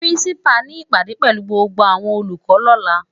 Pirinsipá ni ipádé pèlú gbógbó áwòn ólúkò lòlá